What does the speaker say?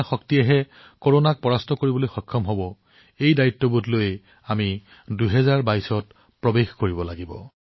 এই দায়িত্ববোধৰ দ্বাৰা কৰোনাক পৰাস্ত কৰিব পৰা আমাৰ সামূহিক শক্তিৰ সৈতে আমি ২০২২ চনত প্ৰৱেশ কৰিব লাগিব